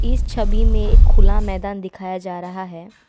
इस छवि में खुला मैदान दिखाया जा रहा है।